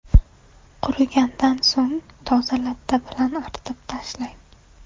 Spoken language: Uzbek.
Qurigandan so‘ng toza latta bilan artib tashlang.